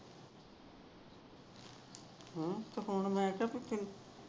ਹਮ ਤੇ ਹੁਣ ਮੈ ਕਿਹਾ ਤੂੁੰ